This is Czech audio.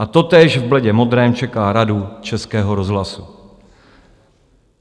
A totéž v bledě modrém čeká Radu Českého rozhlasu.